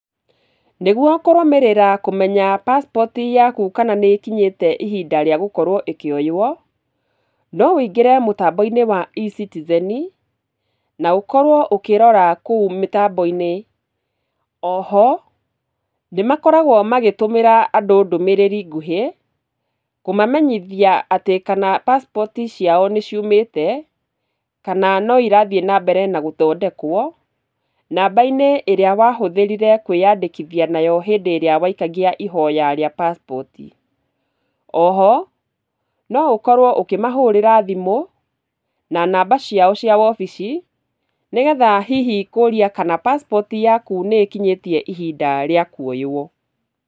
Nĩguo kũrũmĩrĩra kũmenya passport yaku kana nĩ ĩkinyĩte ihinda rĩa gũkorwo ĩkĩoywo, no wĩingĩre mũtambo-inĩ wa eCitizen, na ũkorwo ũkĩrora kũu mĩtambo-inĩ . Oho, nĩ makoragwo magĩtũmĩra andũ ndũmĩrĩri nguhĩ, kũmamenyithia atĩ kana passport ciao nĩ ciumĩte, kana no irathiĩ na mbere na gũthondekwo, namba-inĩ ĩrĩa wahũthĩrire kũĩyandĩkithia nayo hĩndĩ ĩrĩa waikagia ihoya rĩa passport. Oho, no ũkorwo ũkĩmahurĩra thimũ na namba ciao cia wobici, nĩgetha hihi kũũria kana passport yaku nĩ ĩkinyĩtie ihinda rĩa kuoywo.